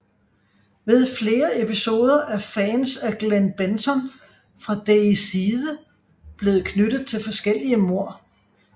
Ved flere episoder er fans af Glen Benton fra Deicide blevet knyttet til forskellige mord